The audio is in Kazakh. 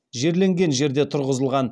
жерленген жерде тұрғызылған